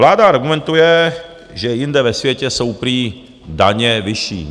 Vláda argumentuje, že jinde ve světě jsou prý daně vyšší.